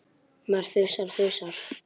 Maður þusar og þusar.